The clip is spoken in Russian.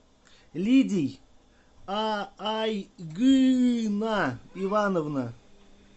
лидий аайгына ивановна